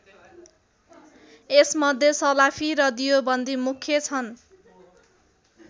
यस मध्ये सलाफी र दियोबन्दी मुख्य छन्।